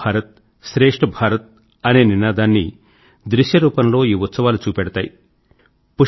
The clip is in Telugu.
ఏక్ భారత్ శ్రేష్ఠ్ భారత్ అనే నినాదాన్ని దృశ్యరూపం లో ఈ ఉత్సవాలు చూపెడతాయి